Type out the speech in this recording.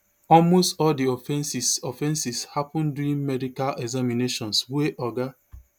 almost all di offences offences happun during medical examinations wey oga